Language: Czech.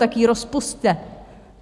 Tak ji rozpusťte!